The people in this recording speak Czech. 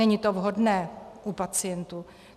Není to vhodné u pacientů.